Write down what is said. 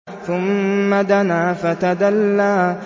ثُمَّ دَنَا فَتَدَلَّىٰ